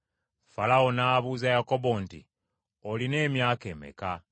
Falaawo n’abuuza Yakobo nti, “Olina emyaka emeka?”